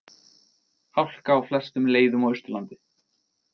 Hálka á flestum leiðum á Austurlandi